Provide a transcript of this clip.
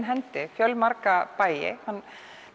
hendi marga bæi hann